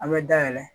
An bɛ dayɛlɛ